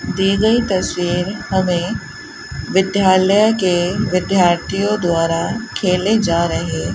दी गई तस्वीर हमे विध्यालय के विद्यार्थियों द्वारा खेले जा रहे --